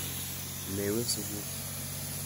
Mewe sukul?